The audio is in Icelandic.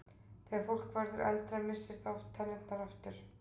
Þegar fólk verður eldra missir það oft tennurnar aftur.